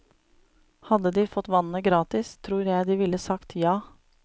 Hadde de fått vannet gratis, tror jeg de ville sagt ja.